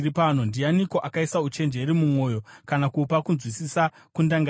Ndianiko akaisa uchenjeri mumwoyo, kana kupa kunzwisisa kundangariro?